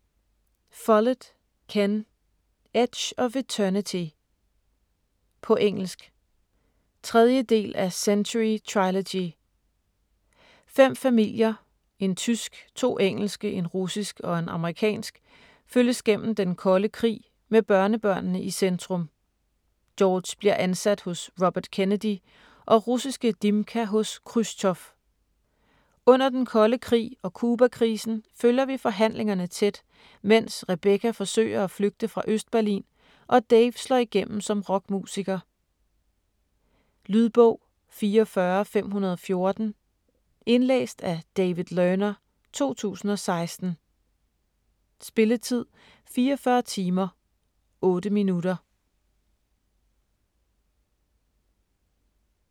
Follett, Ken: Edge of eternity På engelsk. 3. del af Century trilogy. Fem familier, en tysk, to engelske, en russisk og en amerikansk følges gennem den kolde krig, med børnebørnene i centrum. George bliver ansat hos Robert Kennedy, og russiske Dimka hos Khrusjtjov. Under den kolde krig og Cubakrisen følger vi forhandlingerne tæt, mens Rebecca forsøger at flygte fra Østberlin, og Dave slår igennem som rockmusiker. Lydbog 44514 Indlæst af David Learner, 2016. Spilletid: 44 timer, 8 minutter.